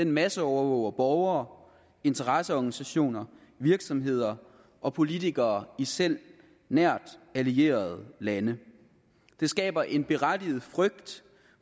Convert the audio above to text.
masseovervåger borgere interesseorganisationer virksomheder og politikere i selv nært allierede lande det skaber en berettiget frygt